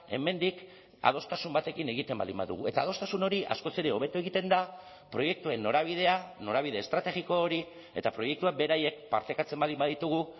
hemendik adostasun batekin egiten baldin badugu eta adostasun hori askoz ere hobeto egiten da proiektuen norabidea norabide estrategiko hori eta proiektuak beraiek partekatzen baldin baditugu